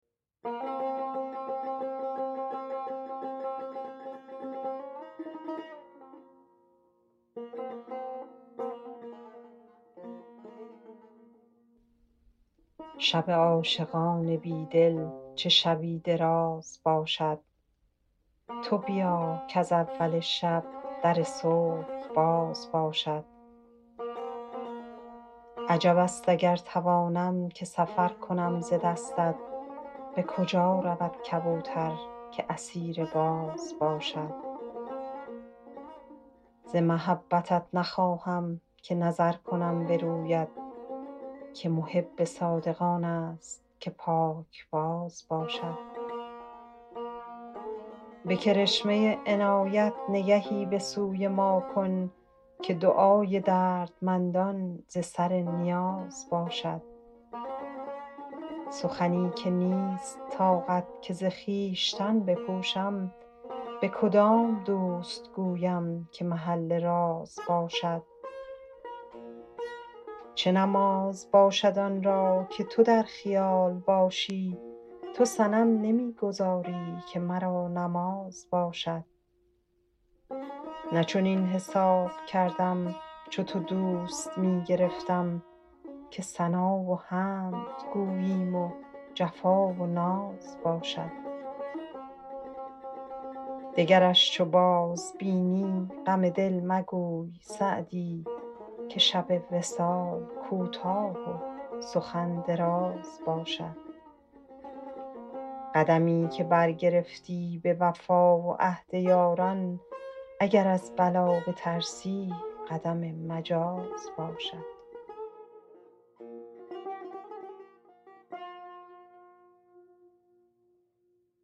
شب عاشقان بی دل چه شبی دراز باشد تو بیا کز اول شب در صبح باز باشد عجب است اگر توانم که سفر کنم ز دستت به کجا رود کبوتر که اسیر باز باشد ز محبتت نخواهم که نظر کنم به رویت که محب صادق آن است که پاکباز باشد به کرشمه عنایت نگهی به سوی ما کن که دعای دردمندان ز سر نیاز باشد سخنی که نیست طاقت که ز خویشتن بپوشم به کدام دوست گویم که محل راز باشد چه نماز باشد آن را که تو در خیال باشی تو صنم نمی گذاری که مرا نماز باشد نه چنین حساب کردم چو تو دوست می گرفتم که ثنا و حمد گوییم و جفا و ناز باشد دگرش چو بازبینی غم دل مگوی سعدی که شب وصال کوتاه و سخن دراز باشد قدمی که برگرفتی به وفا و عهد یاران اگر از بلا بترسی قدم مجاز باشد